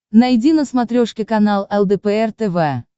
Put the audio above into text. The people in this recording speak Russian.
найди на смотрешке канал лдпр тв